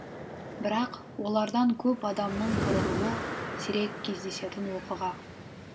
бірақ олардан көп адамның қырылуы сирек кездесетін оқыға